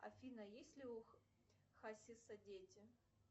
афина есть ли у хасиса дети